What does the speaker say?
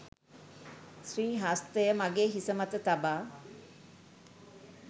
ශ්‍රී හස්තය මගේ හිසමත තබා